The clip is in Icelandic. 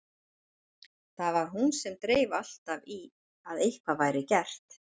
Það var hún sem dreif alltaf í að eitthvað væri gert.